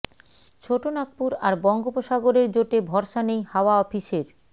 ছোট নাগপুর আর বঙ্গোপসাগরের জোটে ভরসা নেই হাওয়া অফিসের